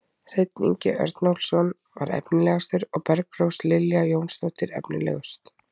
Hreinn Ingi Örnólfsson var efnilegastur og Bergrós Lilja Jónsdóttir efnilegust.